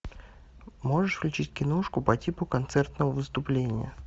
можешь включить киношку по типу концертного выступления